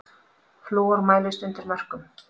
Flúor mælist undir mörkum